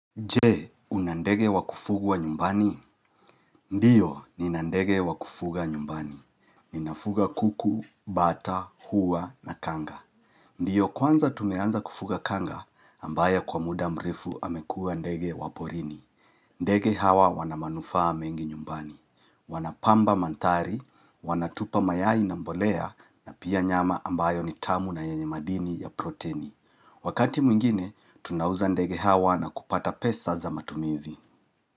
Je, unandege wakufuga nyumbani? Ndiyo, ninandege wakufuga nyumbani. Ninafuga kuku, bata, huwa na kanga. Ndiyo, kwanza tumeanza kufuga kanga, ambaye kwa muda mrefu amekua ndege waporini. Ndege hawa wanamanufaa mengi nyumbani. Wanapamba mandhari, wanatupa mayai na mbolea, na pia nyama ambayo nitamu na yenye madini ya proteni. Wakati mwingine, tunauza ndege hawa na kupata pesa za matumizi.